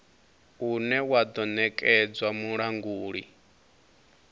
une wa do nekedzwa mulanguli